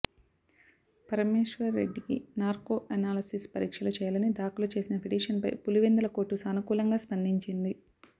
పరమేశ్వర్ రెడ్డికి narco analysis పరీక్షలు చేయాలని దాఖలు చేసిన పిటిషన్పై పులివెందుల కోర్టు సానుకూలంగా స్పందించింది